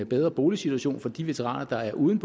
bedre boligsituation for de veteraner der er uden